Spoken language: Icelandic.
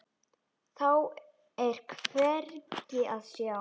Þá er hvergi að sjá.